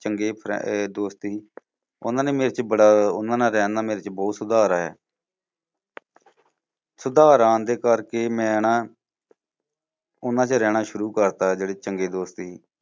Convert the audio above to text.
ਚੰਗੇ ਅਹ ਦੋਸਤ ਸੀ। ਉਨ੍ਹਾਂ ਨੇ ਮੇਰੇ ਚ ਬੜਾ ਉਨ੍ਹਾਂ ਨਾਲ ਰਹਿਣ ਨਾਲ ਮੇਰੇ ਚ ਬਹੁਤ ਸੁਧਾਰ ਆਇਆ। ਸੁਧਾਰ ਆਉਣ ਦੇ ਕਰਕੇ ਮੈਂ ਨਾ ਉਨ੍ਹਾਂ ਚ ਰਹਿਣਾ ਸ਼ੁਰੂ ਕਰਤਾ ਜਿਹੜੇ ਚੰਗੇ ਦੋਸਤ ਸੀ।